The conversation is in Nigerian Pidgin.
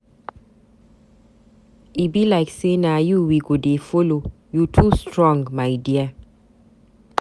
E be like say na you we go dey follow, you too strong my dear.